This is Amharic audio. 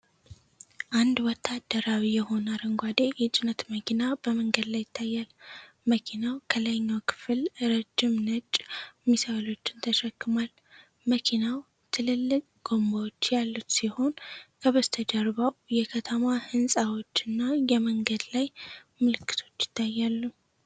አንድ ወታደራዊ የሆነ አረንጓዴ የጭነት መኪና በመንገድ ላይ ይታያል። መኪናው ከላይኛው ክፍል ረጅም ነጭ ሚሳኤሎችን ተሸክሟል። መኪናው ትልልቅ ጎማዎች ያሉት ሲሆን፣ ከበስተጀርባው የከተማ ህንፃዎችና የመንገድ ላይ ምልክቶች ይታያሉ።